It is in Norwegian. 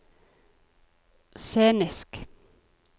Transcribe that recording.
scenisk